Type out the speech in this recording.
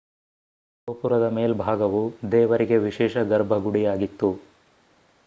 ಗೋಪುರದ ಮೇಲ್ಭಾಗವು ದೇವರಿಗೆ ವಿಶೇಷ ಗರ್ಭಗುಡಿಯಾಗಿತ್ತು